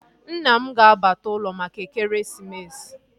Nna m ga-abata ụlọ maka ekeresimesi